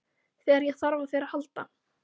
Þegar ég þarf á þér að halda.